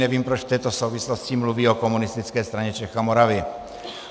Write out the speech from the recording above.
Nevím, proč v této souvislosti mluví o Komunistické straně Čech a Moravy.